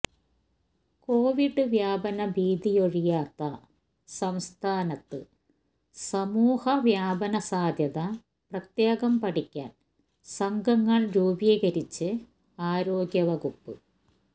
Covid വ്യാപന ഭീതിയൊഴിയാത്ത സംസ്ഥാനത്ത് സമൂഹ വ്യാപന സാധ്യത പ്രത്യേകം പഠിക്കാന് സംഘങ്ങള് രൂപീകരിച്ച് ആരോഗ്യ വകുപ്പ്